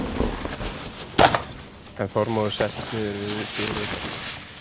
En Þormóður settist niður við dyr utar.